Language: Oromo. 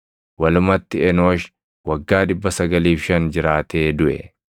Walumatti Enoosh waggaa 905 jiraatee duʼe.